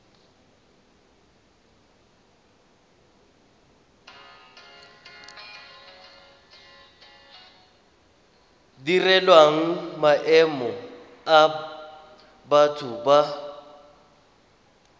direlwang maemo a batho ba